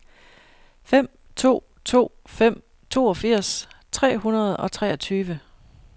fem to to fem toogfirs tre hundrede og treogtyve